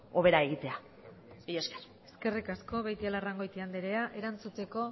hobera egitea mila esker eskerrik asko beitialarrangoiti andrea erantzuteko